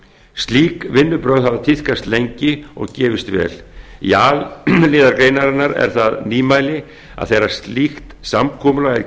slík vinnubrögð hafa tíðkast lengi og gefist vel í a lið greinarinnar er það nýmæli að þegar slíkt samkomulag